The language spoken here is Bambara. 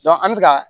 an bɛ se ka